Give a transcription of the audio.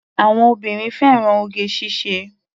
Àwọn obìnrin fẹ́ràn oge ṣíṣe.